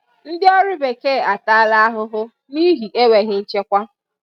ndị ọrụ bekee ataala ahụhụ n'ihi enweghị nchekwa